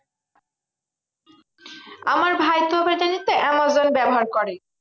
আমার ভাইতো আবার জানিসতো আমাজন ব্যবহার করে।